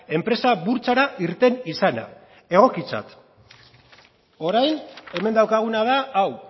enpresa burtsara irten izana egokitzat orain hemen daukaguna da hau